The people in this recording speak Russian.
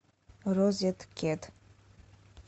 розеткед